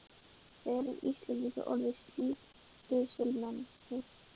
Erum við Íslendingar orðnir slík dusilmenni?